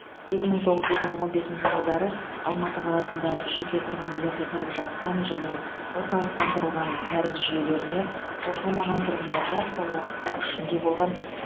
екі мың тоғыз екі мың он бесінші жылдары алматы қаласында жеке тұрғын үйлерде тұрып жатқан және орталықтандырылған кәріз жүйелеріне қосылмаған тұрғындарға сол уақытта күшінде болған